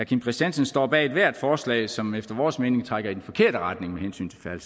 kim christiansen står bag ethvert forslag som efter vores mening trækker i den forkerte retning med hensyn